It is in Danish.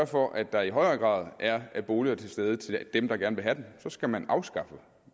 for at der i højere grad er boliger til stede til dem der gerne vil have dem så skal man afskaffe